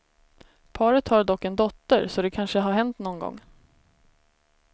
Paret har dock en dotter, så det kanske har hänt nån gång.